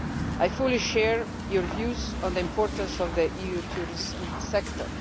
I fully share your views on the importance of the EU tourism sector.